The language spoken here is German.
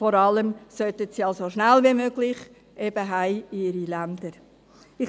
Vor allem sollten sie so schnell wie möglich in ihre Länder heimkehren.